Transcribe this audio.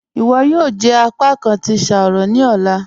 "Iwọ yóò jẹ apàkán tí ṣáárọ̀ ní ọ̀lá."